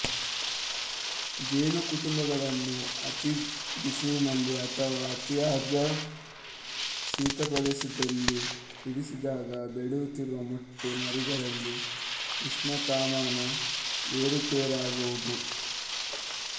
ಜೇನುಕುಟುಂಬಗಳನ್ನು ಅತೀ ಬಿಸಿಲಿನಲ್ಲಿ ಅಥವಾ ಅತಿಯಾದ ಶೀತಪ್ರದೇಶದಲ್ಲಿ ಇರಿಸಿದಾಗ ಬೆಳೆಯುತ್ತಿರುವ ಮೊಟ್ಟೆ ಮರಿಗಳಿಗೆ ಉಷ್ಣತಾಮಾನ ಏರುಪೇರಾಗುವುದು